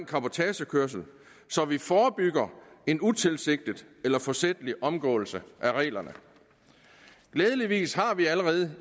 cabotagekørsel så vi forebygger en utilsigtet eller forsætlig omgåelse af reglerne glædeligvis har vi allerede